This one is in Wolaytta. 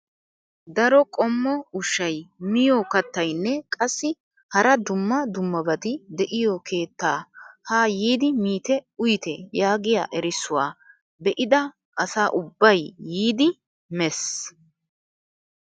Daro qommo ushshay miyoo kattayinne qassi hara dumma dummabati de'iyoo keettaa haa yiidi miite uyite yaagiyaa erissuwaa be'ida asa ubbay yiidi mes!